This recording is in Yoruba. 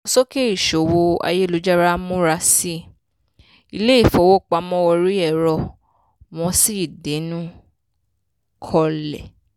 ìlọsókè ìṣòwò ayélujára múra sí ilé-ìfowópamọ́ orí-ẹ̀rọ wọn sì dẹnu kọlẹ̀.